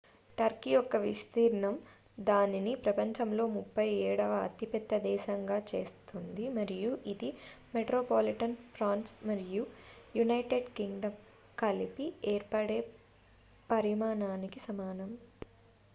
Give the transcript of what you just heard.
Turkey యొక్క విస్తీర్ణం దానిని ప్రపంచంలో 37 వ అతిపెద్ద దేశంగా చేస్తుంది మరియు ఇది మెట్రోపాలిటన్ ఫ్రాన్స్ మరియు యునైటెడ్ కింగ్డమ్ కలిపి ఏర్పడే పరిమాణానికి సమానం